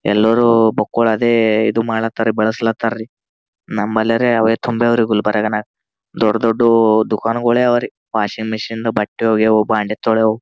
ಎಲ್ಲರೂ ಬಕ್ಕೋಳದೇ ಇದು ಮಾಡ್ಲಾತ್ರಯೇ ಬಳಸ್ಲತಾರಿ ನಮ್ಬಲರೆ ಅವೆ ತುಂಬ್ಯಾವ್ರ ಗುಲ್ಬರ್ನ್ಗ್ ದೊಡ್ ದೊಡ್ ದುಕಾನ್ಗಳೇ ಅವ್ರೆ ವಾಷಿಂಗ್ ಮಿಷನ್ ಬಟ್ಟೆ ಒಗೆಯೋವು ಬಾಂಡ್ಯ ತೊಳೆಯವು.